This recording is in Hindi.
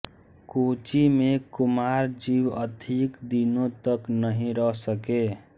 कुची में कुमारजीव अधिक दिनों तक नहीं रह सके